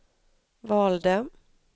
valde